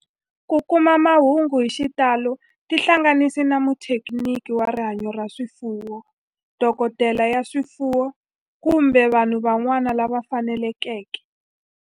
Ku kuma mahungu hi xitalo tihlanganisi na muthekiniki wa rihanyo ra swifuwo, dokodela ya swifuwo, kumbe vanhu van'wana lava fanelekeke